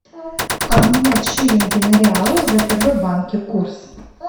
обменять шиллинги на реалы в втб банке курс